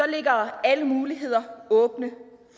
ligger alle muligheder åbne